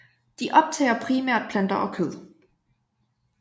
De optager primært planter og kød